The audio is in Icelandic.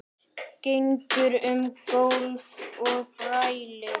Gengur um gólf og brælir.